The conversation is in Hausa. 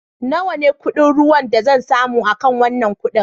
Nawa ne kuɗin ruwan da zan samu akan wanan kudi?